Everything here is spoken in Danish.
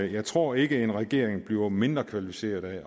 jeg tror ikke at en regering bliver mindre kvalificeret af